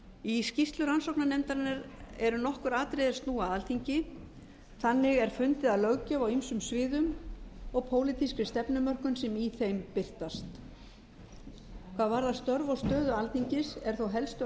í skýrslu rannsóknarnefndarinnar eru nokkur atriði er snúa að alþingi þannig er fundið að löggjöf á ýmsum sviðum og pólitískri stefnumörkun sem í þeim birtast hvað varðar störf og stöðu alþingis er þó helstu